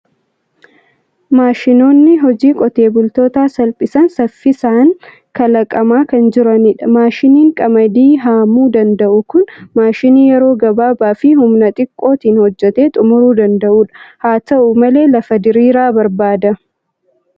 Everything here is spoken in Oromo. Maashinoonni hojii qotee bultootaa salphisan saffisaan kalaqamaa kan jiranidha. Maashiniin qamadii haamiu danda'u kun maashinii yeroo gabaabaa fi humna xiqqootiin hojjetee xumuruu danda'u dha. Haa ta'u malee, lafa diriiraa barbaada.